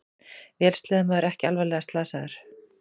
Vélsleðamaður ekki alvarlega slasaður